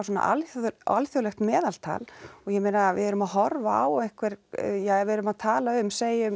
alþjóðlegt alþjóðlegt meðaltal og ég meina við erum að horfa á einhver ja við erum að tala um segjum